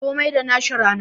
Komi da nashi rana